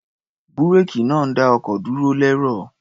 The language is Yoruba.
Búréèkì náà ń dá ọkọ̀ dúró lẹ́rọ̀.